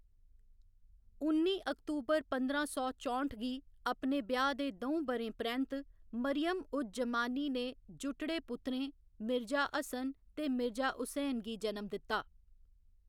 उन्नी अक्बतूर पंधरां सौ चौंठ गी, अपने ब्याह्‌‌ दे द'ऊं ब'रें परैंत्त, मरियम उज जमानी ने जुटड़े पुत्तरें, मिर्जा हसन ते मिर्जा हुसैन गी जन्म दित्ता।